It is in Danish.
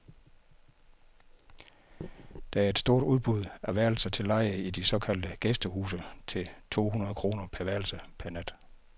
Der er et stort udbud af værelser til leje i de såkaldte gæstehuse til to hundrede kroner per værelse per nat.